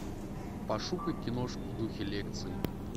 пошукай киношку в духе лекции